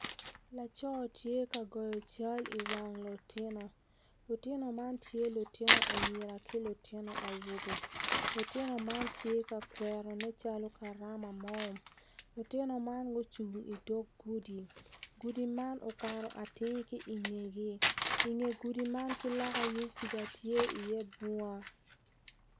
Laco tye ka goyo cal iwang lutinu, lutinu man tye lutinu anyira ki lutinu awobe lutinu man tye ka kwero nen calo karama mo lutinu man gucung idog gudi gudu man ukato atir ki i ngegi i nge gudi man ki lok yung kuja tye iye bunga